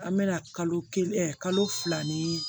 An bɛna kalo kelen kalo fila ni